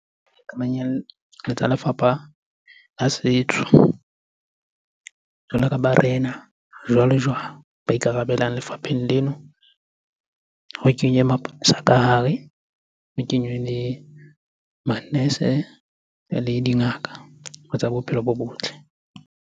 Tsa lefapha la setso. Jwalo ka barena, jwale-jwale ba ikarabelang lefapheng leno. Ho kenywe maponesa ka hare, ho kenywe le manese le dingaka tsa bophelo bo botle.